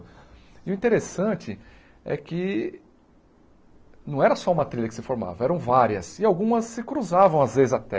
E o interessante é que não era só uma trilha que se formava, eram várias e algumas se cruzavam às vezes até.